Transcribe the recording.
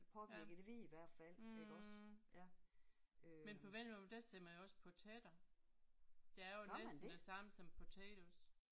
Ja mh men på vendelbomål der siger man jo også patater. Det er jo næsten det samme som potatoes